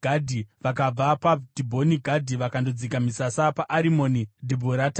Vakabva paDhibhoni Gadhi vakandodzika misasa paArimoni Dhibhurataimi.